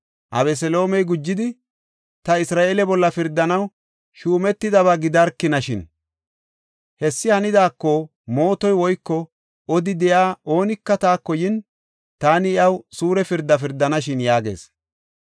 Abeseloomey gujidi, “Ta Isra7eele bolla pirdanaw shuumetidaba gidarkinashin. Hessi hanidaako, mootoy woyko odi de7iya oonika taako yin, taani iyaw suure pirda pirdanashin” yaagees.